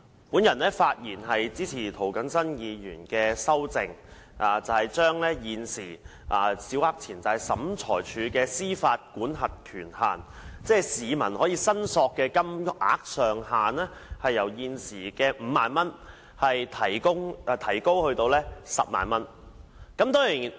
主席，我發言支持涂謹申議員提出的修訂，把現時小額錢債審裁處的民事司法管轄權限，即市民可以申索的金額上限，由現時的5萬元提高至10萬元。